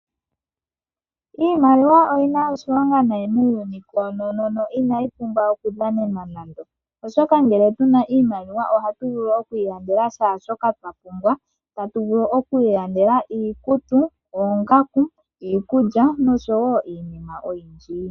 Iimaliwa oyi na oshilonga nayi muuyuni koonono na inayi pumbwa okudhanenwa nando, oshoka ngele tu na iimaliwa ohatu vulu oku ilandela shaashoka twa pumbwa. Tatu vulu oku ilandela iikutu, oongaku, iikulya noshowo iinima oyindji.